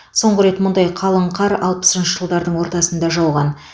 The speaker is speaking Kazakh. соңғы рет мұндай қалың қар алпысыншы жылдардың ортасында жауған